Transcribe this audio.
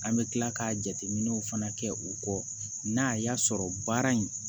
An bɛ tila ka jateminɛw fana kɛ u kɔ n'a y'a sɔrɔ baara in